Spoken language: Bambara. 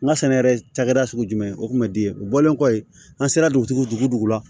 N ka sɛnɛ yɛrɛ cakɛda sugu jumɛn o kun bɛ di u bɔlen kɔfɛ an sera dugujugu dugu dugu la